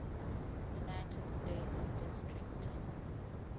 united states district